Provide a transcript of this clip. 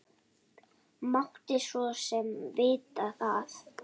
Mátti svo sem vita það.